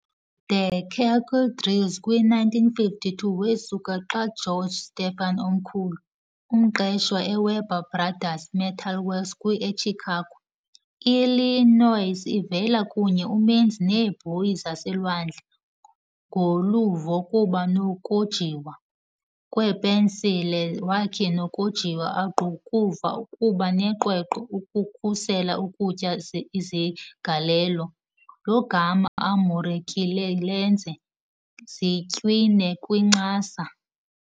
The Kettle Grills kwi 1952 Wesuka xa George Stephen Omkhulu, umqeshwa eWeber Brothers Metal Works kwi eChicago, Illinois, ivele kunye umenzi neebhoyi zaselwandle, ngoluvo kuba nokojiwa. kwepensile wakhe nokojiwa angqukuva kuba neqweqwe ukukhusela ukutya iziqalelo, lo gama amukerile lenza zitywine kwincasa.